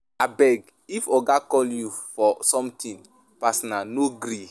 Abeg, if Oga call you for something personal no gree.